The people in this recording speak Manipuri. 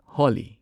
ꯍꯣꯂꯤ